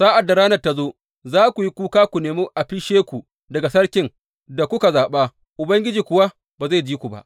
Sa’ad da ranar ta zo, za ku yi kuka ku nemi a fishe ku daga sarkin da kuka zaɓa, Ubangiji kuwa ba zai ji ku ba.